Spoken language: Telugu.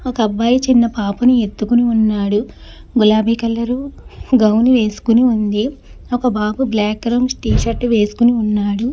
ఒక అబ్బాయి చిన్న పాపని ఎత్తుకొని ఉన్నాడు. గులాబీ కలరు గౌను వేసుకుని ఉంది. ఒక బాబు బ్లాక్ రంగ్ టీ షర్టు వేసుకుని ఉన్నాడు.